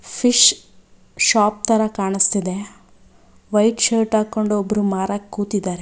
Fish shop ತರ ಕಾಣಿಸ್ತಿದೆ white shirt ಹಾಕೊಂಡ್ ಒಬ್ರು ಮಾರಕ್ ಕೂತಿದ್ದಾರೆ.